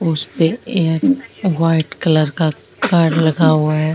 उसमे एक white colour का कार्ड लगा हुआ है।